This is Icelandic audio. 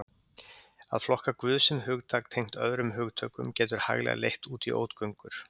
Að flokka Guð sem hugtak tengt öðrum hugtökum getur hæglega leitt út í ógöngur.